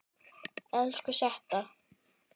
Elsku Setta.